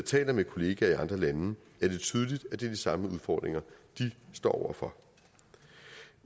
taler med kolleger i andre lande er det tydeligt at det er de samme udfordringer de står over for